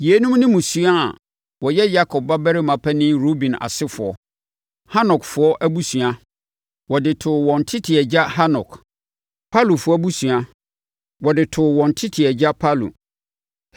Yeinom ne mmusua a wɔyɛ Yakob babarima panin Ruben asefoɔ: Hanokfoɔ abusua, wɔde too wɔn tete agya Hanok; Palufoɔ abusua, wɔde too a wɔn tete agya Palu;